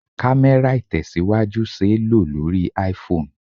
Kamera Itesiwaju ṣé lo lórí IPhone.